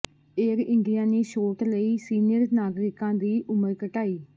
air India ਨੇ ਛੋਟ ਲਈ ਸੀਨੀਅਰ ਨਾਗਰਿਕਾਂ ਦੀ ਉਮਰ ਘਟਾਈ